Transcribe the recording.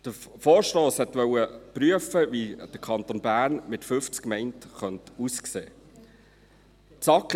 Der Vorstoss wollte prüfen, wie der Kanton Bern mit 50 Gemeinden aussehen könnte.